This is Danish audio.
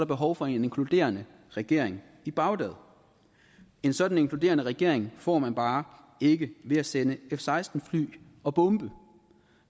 behov for en inkluderende regering i bagdad en sådan inkluderende regering får man bare ikke ved at sende f seksten fly og bombe